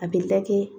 A bɛ ta kɛ